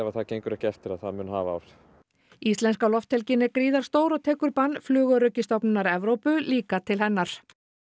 það gengur ekki eftir að það mun hafa áhrif íslenska lofthelgin er gríðarstór og tekur bann Flugöryggisstofnunar Evrópu líka til hennar